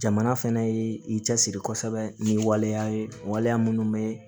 Jamana fɛnɛ ye i cɛsiri kosɛbɛ ni waleya ye waleya minnu bɛ